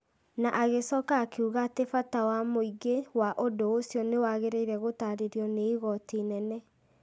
na agĩcoka akiuga atĩ bata wa mũingĩ wa ũndũ ũcio nĩ wagĩrĩire gũtaarĩrio nĩ igooti inene.